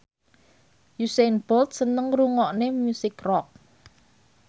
Usain Bolt seneng ngrungokne musik rock